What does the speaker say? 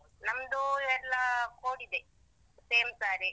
ನಮ್ದು ಎಲ್ಲಾ code ಇದೆ, same saree .